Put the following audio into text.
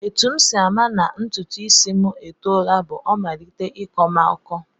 Etu m si ama na ntụtụisi m etoola bụ o malite ịkọ m ọkọ